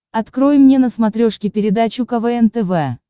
открой мне на смотрешке передачу квн тв